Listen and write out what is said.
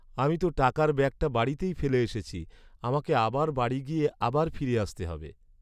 আমি তো টাকার ব্যাগটা বাড়িতেই ফেলে এসেছি। আমাকে আবার বাড়ি গিয়ে আবার ফিরে আসতে হবে।